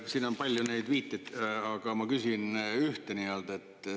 Siin on palju neid viiteid, aga ma küsin ühe kohta.